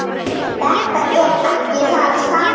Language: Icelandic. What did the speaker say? Þetta er ekki það sama.